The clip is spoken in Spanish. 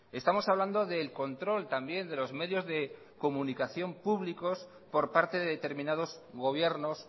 estamos hablando del control también de los medios de comunicación públicos por parte de determinados gobiernos